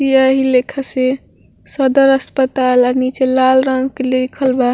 एही लेखा से सदर अस्पताल और नीचे लाल रंग के लिखल बा।